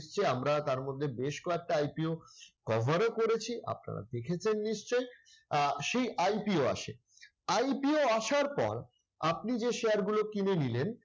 যে আমরা তার মধ্যে বেশ কয়েকটা IPO cover ও করেছি আপনারা দেখেছেন নিশ্চয়ই। আহ সেই IPO আসে। IPO আসার পর আপনি যে share গুলো কিনে নিলেন